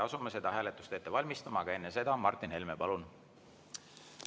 Asume seda hääletust ette valmistama, aga enne seda, Martin Helme, palun!